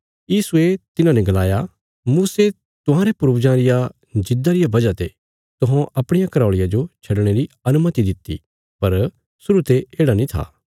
यीशुये तिन्हांने गलाया मूसे तुहांरे पूर्वजां रिया जिद्दा रिया वजह ते तुहौं अपणिया घराऔल़िया जो छडणे री अनुमति दित्ति पर शुरु ते येढ़ा नीं था